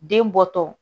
Den bɔtɔ